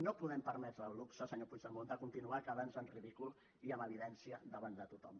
no ens podem permetre el luxe senyor puigdemont de continuar quedant en ridícul i en evidència davant de tothom